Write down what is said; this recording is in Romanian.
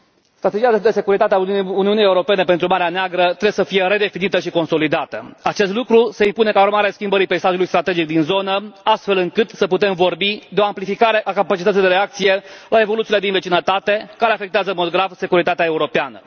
Strategia de securitate a Uniunii Europene pentru Marea Neagră trebuie să fie redefinită și consolidată. Acest lucru se impune ca urmare a schimbării peisajului strategic din zonă, astfel încât să putem vorbi de o amplificare a capacității de reacție la evoluțiile din vecinătate, care afectează în mod grav securitatea europeană.